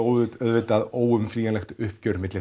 auðvitað óumflýjanlegt uppgjör